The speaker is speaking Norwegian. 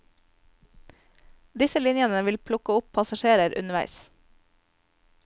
Disse linjene vil plukke opp passasjerer underveis.